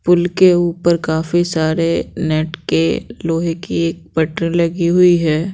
पुल के ऊपर काफी सारे नेट के लोहे की एक बटन लगी हुई है।